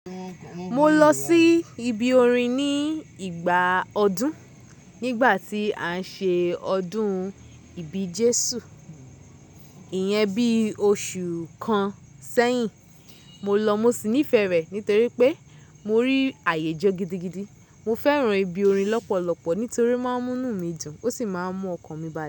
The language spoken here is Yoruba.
Mo lọ sí ibi orin ní ìgbà ọdún, nígbà tí à ń ṣe ọdún ìbí Jésù. Ìyẹn bí oṣù kan sẹ́yìn. Mo lọ mo sì nífẹ̀ẹ́ rẹ̀ nítorí pé mo rí àyè jo gidigidi. Mo fẹ́ran ibi orin lọ́pọ̀lọpọ̀ nítorí ó máa ń mú nù mí dùn ó sì máa ń mú ọkàn mi balẹ̀.